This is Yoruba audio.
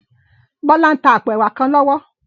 Bola n tá àpó èwá kán lòwò